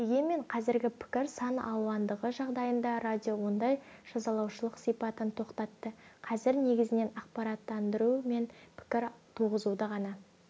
дегенмен қазіргі пікір сан алуандығы жағдайында радио ондай жазалаушылық сипатын тоқтатты қазір негізінен ақпараттандыру мен пікір туғызуды ғана